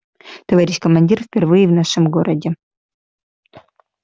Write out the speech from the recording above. товарищ командир впервые в нашем городе